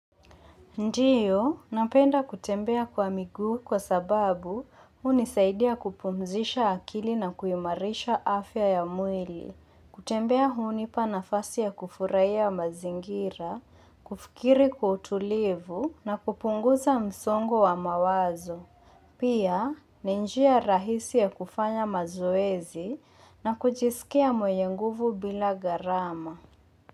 Ndiyo, napenda kutembea kwa miguu kwa sababu hunisaidia kupumzisha akili na kuimarisha afya ya mwili. Kutembea hunipa nafasi ya kufurahia mazingira, kufikiri kwa utulivu na kupunguza msongo wa mawazo. Pia, ni njia rahisi ya kufanya mazoezi na kujisikia mwenye nguvu bila garama.